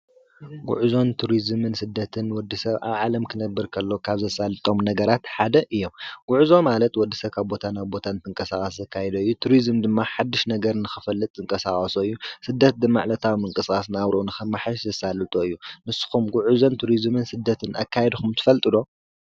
ጕዕዞን ቱርዝምን ስደትን ንወዲ ሰብ ኣብ ዓለም ክነብር ከሎ ካብ ዘሳልጦም ነገራት ሓደ እዮም፡፡ ጕዕዞ ማለት ወዲ ሰብ ኻብ ቦታ ናብ ቦታ እንትንቀሳቀስ ዘካይዶ እዩ፡፡ ቱርዝም ድማ ሓድሽ ነገር ንኽፈልጥ ዝንቀሳቀሶ እዩ፡፡ ስደት ማለት ዕለታዊ ምንቅስቃስ ናብርኡ ንኸማሓይሽ ዘሳልጦ እዩ፡፡ ንስኹም ጕዑዞን ቱርዝምን ስደትን ኣካይድኩም ትፈልጡ ዶ?